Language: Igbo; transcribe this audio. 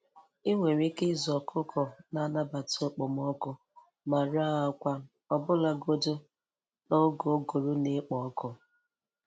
Ị nwere ike ịzụ ọkụkọ na-anabata okpomọkụ ma ree akwa, ọbụlagodi n'oge ụgụrụ na-ekpo ọkụ.